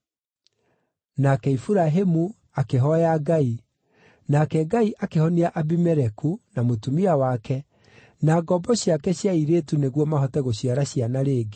Nake Iburahĩmu akĩhooya Ngai, nake Ngai akĩhonia Abimeleku, na mũtumia wake, na ngombo ciake cia airĩtu nĩguo mahote gũciara ciana rĩngĩ,